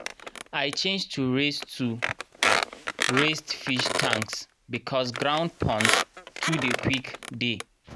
i change to raised to raised fish tanks because ground ponds too dey quick dey.